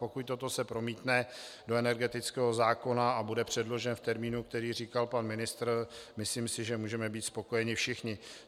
Pokud se toto promítne do energetického zákona a bude předložen v termínu, který říkal pan ministr, myslím si, že můžeme být spokojeni všichni.